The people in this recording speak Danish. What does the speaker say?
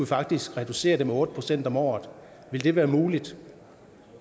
faktisk reducere det med otte procent om året ville det være muligt